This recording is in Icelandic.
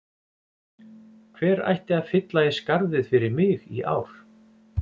Hver ætti að fylla í skarðið fyrir mig í ár?